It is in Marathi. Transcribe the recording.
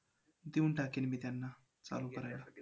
देऊन टाकेन मी त्यांना चालू करायला.